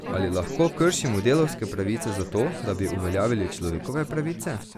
Ali lahko kršimo delavske pravice zato, da bi uveljavili človekove pravice?